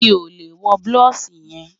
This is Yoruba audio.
Mi ò lè wọ́ blọúṣì yẹn